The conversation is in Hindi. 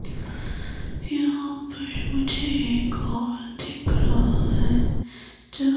यहां पर मुझे एक हॉल दिख रहा है जो --